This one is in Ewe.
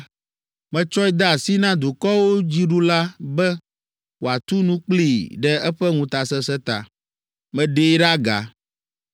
metsɔe de asi na dukɔwo dziɖula be wòatu nu kplii ɖe eƒe ŋutasesẽ ta. Meɖee ɖe aga,